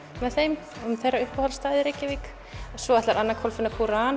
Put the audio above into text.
með þeim og þeirra uppáhaldsstað í Reykjavík svo er Anna Kolfinna